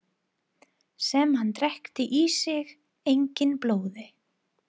Sem hann drekkti í sínu eigin blóði.